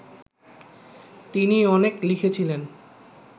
তিনি অনেক লিখেছিলেন